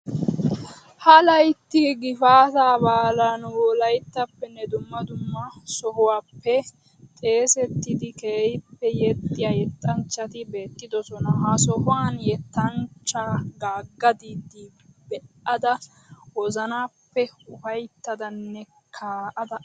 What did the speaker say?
Ha layitti gifaataa baalan wolayittappenne dumma sohuwaappe xeesettidi keehippe yexxiya yettanchchati beettidosona. Ha sohuwan yettanchchaa Gaagga Diida be'ada wozanappe ufayittadanne kaa'ada aggaas